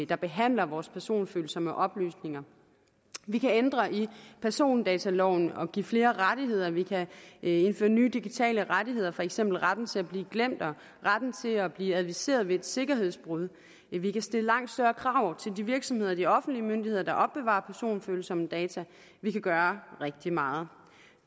der behandler vores personfølsomme oplysninger vi kan ændre i persondataloven og give flere rettigheder vi kan indføre nye digitale rettigheder for eksempel retten til at blive glemt og retten til at blive adviseret ved et sikkerhedsbrud vi kan stille langt større krav til de virksomheder og de offentlige myndigheder der opbevarer personfølsomme data vi kan gøre rigtig meget